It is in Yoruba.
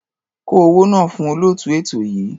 Kó owó náà fún olóòtú ètò yìí.